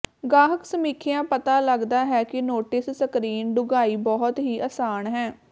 ਗਾਹਕ ਸਮੀਖਿਆ ਪਤਾ ਲੱਗਦਾ ਹੈ ਕਿ ਨੋਟਿਸ ਸਕਰੀਨ ਡੂੰਘਾਈ ਬਹੁਤ ਹੀ ਆਸਾਨ ਹੈ